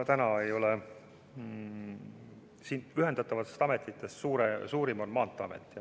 Nendest ühendatavatest ametitest suurim on Maanteeamet.